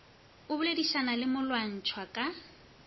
a boledišanago le molwantšhwa ka